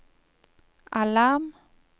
alarm